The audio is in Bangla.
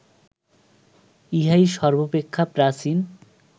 ইহাই সর্ব্বাপেক্ষা প্রাচীন